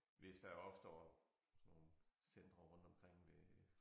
Hvis der opstår sådan nogle centre rundtomkring ved